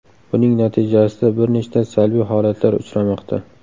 Buning natijasida bir nechta salbiy holatlar uchramoqda.